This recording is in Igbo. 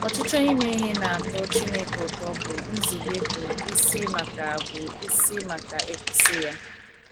Ọchịchọ ime ihe na - atọ Chineke ụtọ bụ nzube bụ́ isi maka bụ́ isi maka ịkwụsị ya.